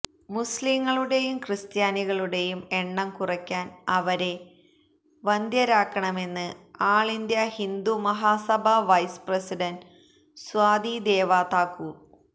മുസ്ലീംകളുടെയും ക്രിസ്ത്യാനികളുടെയും എണ്ണം കുറക്കാന് അവരെ വന്ധ്യരാക്കണമെന്ന് all India Hindu Mahasabha vice president Sadhvi Deva Thakur